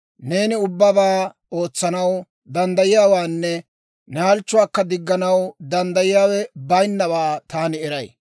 «Neeni ubbabaa ootsanaw danddayiyaawaanne ne halchchuwaakka digganaw danddayiyaawe bayinnawaa taani eray.